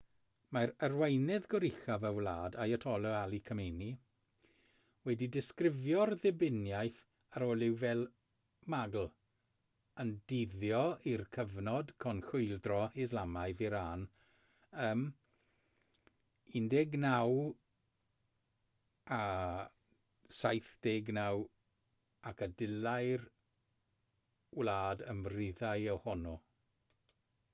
mae arweinydd goruchaf y wlad ayatollah ali khamenei wedi disgrifio'r ddibyniaeth ar olew fel magl yn dyddio i'r cyfnod cyn chwyldro islamaidd iran ym 1979 ac y dylai'r wlad ymryddhau ohono